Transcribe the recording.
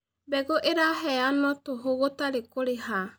Mbegu irahenyanwo tuhu gutari kuriha